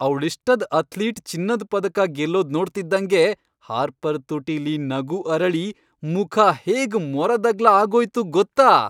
ಅವ್ಳಿಷ್ಟದ್ athlete ಚಿನ್ನದ್ ಪದಕ ಗೆಲ್ಲೋದ್ ನೋಡ್ತಿದ್ದಂಗೆ ಹಾರ್ಪರ್ ತುಟಿಲಿ ನಗು ಅರಳಿ ಮುಖ ಹೇಗ್ ಮೊರದಗ್ಲ ಆಗೋಯ್ತು ಗೊತ್ತಾ!